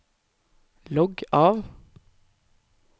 logg av